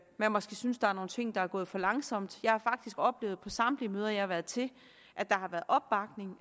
man måske synes der er nogle ting der er gået for langsomt jeg har faktisk oplevet på samtlige møder jeg har været til at der har været opbakning